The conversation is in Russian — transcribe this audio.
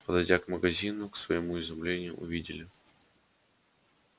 подойдя к магазину к своему изумлению увидели